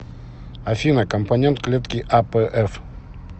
афина компонент клетки апф